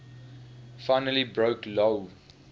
finally broke lou